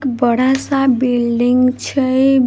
एक बड़ा-सा बिल्डिंग छै।